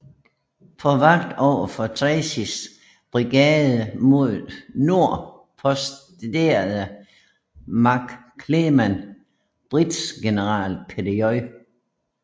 På vagt overfor Tracys brigade mod nord posterede McClernand brigadegeneral Peter J